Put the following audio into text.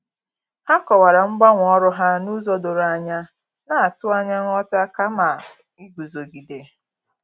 Ha kọwara mgbanwe ọrụ ha n'ụzọ doro anya, na-atụ anya nghọta kama iguzogide.